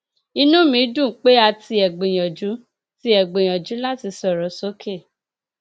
inú mi dùn pé a tiẹ gbìyànjú tiẹ gbìyànjú láti sọrọ sókè